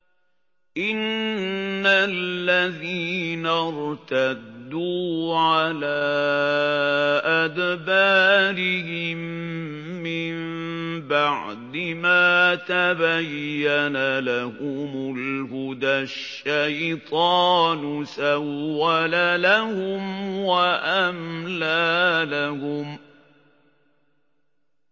إِنَّ الَّذِينَ ارْتَدُّوا عَلَىٰ أَدْبَارِهِم مِّن بَعْدِ مَا تَبَيَّنَ لَهُمُ الْهُدَى ۙ الشَّيْطَانُ سَوَّلَ لَهُمْ وَأَمْلَىٰ لَهُمْ